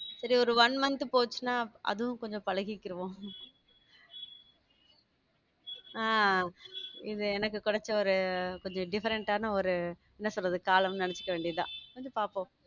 சரி ஒரு one month போச்சுன்னா அதுவும் கொஞ்சம் பழகிக்குறுவோம் அஹ் இது எனக்கு கிடைச்ச ஒரு கொஞ்சம் different ஆன ஒரு என்ன சொல்றது காலம்ன்னு நினைச்சுக்க வேண்டியதுதான்கொஞ்சம் பார்ப்போம்